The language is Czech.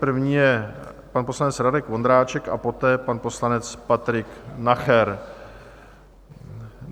První je pan poslanec Radek Vondráček a poté pan poslanec Patrik Nacher.